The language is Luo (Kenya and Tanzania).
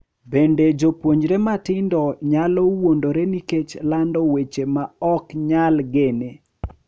Bende, jopuonjre matindo nyalo wuondore nikech lando weche ma ok nyal gene .